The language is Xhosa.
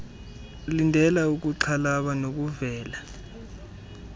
lindela ukuxhalaba nokuvela